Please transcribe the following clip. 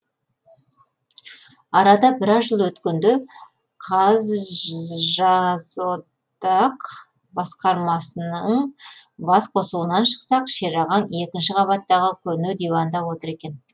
арада біраз жыл өткенде қазжазодақ басқармасының бас қосуынан шықсақ шерағаң екінші қабаттағы көне диванда отыр екен